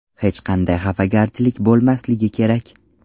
Hech qanday xafagarchilik bo‘lmasligi kerak.